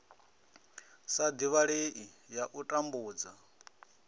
sa divhalei ya u tambudza